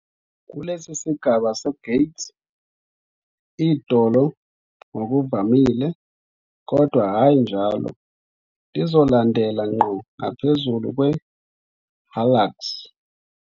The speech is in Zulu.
Kulesi sigaba se-gait, idolo ngokuvamile, kodwa hhayi njalo, lizolandela ngqo ngaphezulu kwe- hallux.